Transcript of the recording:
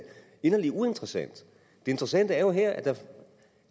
inderlig uinteressant det interessante er jo her at der